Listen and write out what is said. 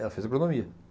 Ela fez agronomia.